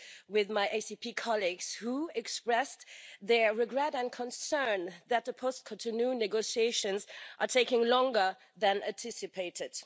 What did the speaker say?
with my ACP colleagues who expressed their regret and concern that the post Cotonou negotiations are taking longer than anticipated.